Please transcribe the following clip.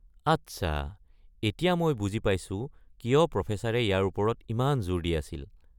আচ্ছা, এতিয়া মই বুজি পাইছো কিয় প্ৰফেছৰে ইয়াৰ ওপৰত ইমান জোৰ দি আছিল।